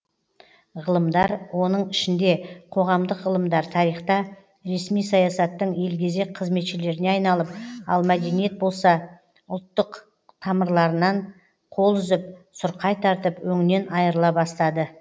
ғылымдар оның ішінде қоғамдық ғылымдар тарихта ресми саясаттың елгезек қызметшілеріне айналып ал мәдениет болса ұлттық тамырларынан қол үзіп сұрқай тартып өңінен айырыла бастады